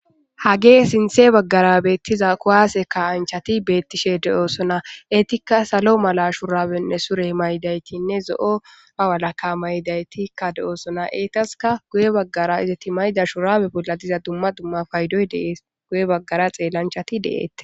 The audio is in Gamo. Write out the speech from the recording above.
Hagee sinthe baggara beettiza kuwaase ka anchati beettishe de7oosona eetikka salo mala shurawenne sure maydaytinne zo7o a walaka maydaytikka de7oosona eetaska guye baggara izati mayda shurawe bolla diza dumma dumma paydoy dee guye baggara xeellanchati deette.